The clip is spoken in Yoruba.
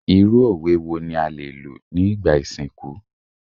Irú òwe wo ni a lè lò ní ìgbà ìsìnkú?